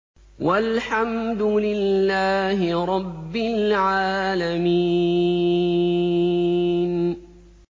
وَالْحَمْدُ لِلَّهِ رَبِّ الْعَالَمِينَ